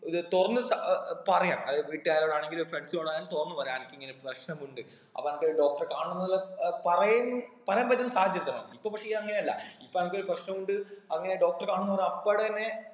ഏർ തുറന്ന് അഹ് അഹ് പറയാ അത് വീട്ടുകാരോടാണെങ്കിലും friends നോടായാലും തൊറന്ന് പറയാ അനക്ക് ഇങ്ങനൊരു പ്രശ്നം ഉണ്ട് അപ്പൊ അനക്ക് ഒരു doctor എ കാണണം എന്നുള്ള ഏർ പറയം പറയാൻ പറ്റുന്ന സാഹചര്യത്തെണം ഇപ്പൊ പക്ഷെ ഈ അങ്ങനെ അല്ല ഇപ്പൊ അനക്ക് ഒരു പ്രശ്നം ഉണ്ട് അങ്ങനെ doctor കാണുന്നവരെ അപ്പാടെമേ